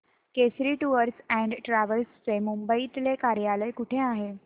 Kesari tours and travels चे मुंबई तले कार्यालय कुठे आहे